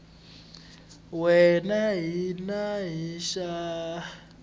wana na xin wana xa